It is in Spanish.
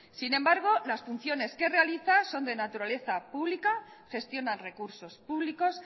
sin embargo las funciones que realiza son de naturaleza pública gestionan recursos públicos